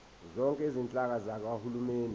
zonke izinhlaka zikahulumeni